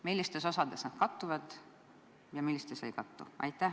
Millistes osades nad kattuvad ja millistes ei kattu?